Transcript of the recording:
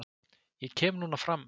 Ég kem núna fram